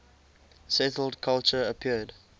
settled culture appeared